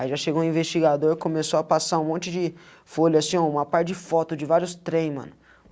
Aí já chegou o investigador, começou a passar um monte de folhas, assim, uma par de fotos de vários trem, mano.